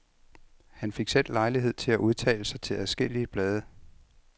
Han fik selv lejlighed til at udtale sig til adskillige blade.